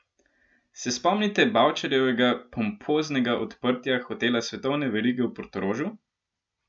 Se spomnite Bavčarjevega pompoznega odprtja hotela svetovne verige v Portorožu?